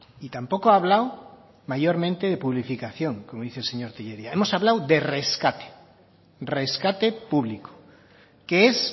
y tampoco ha hablado mayormente de publificación como dice el señor tellería hemos hablado de rescate rescate público que es